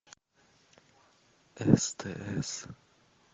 стс